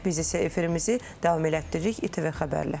Biz isə efirimizi davam elətdiririk ITV Xəbərlə.